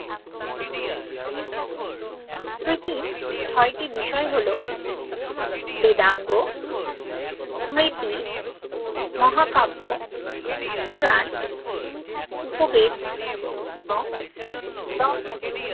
স্মৃতির ছ্য়তি বিষয় হল বেদাঙ্গ মৃত্তি মহাকাব্য পুরান উপবেদ এবং দর্শন